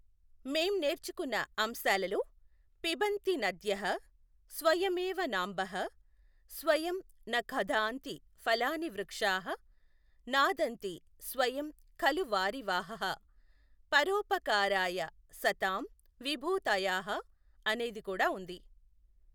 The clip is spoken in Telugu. మేం నేర్చుకున్న అంశాలలో పిబన్తీ నధ్యః స్వయమేవ నాంభః, స్వయం న ఖాదన్తి ఫలాని వృక్షాః, నాదన్తి స్వయం ఖలు వారివాహాః, పరోపకారాయ సతాం విభూతయాః అనేది కూడా ఉంది.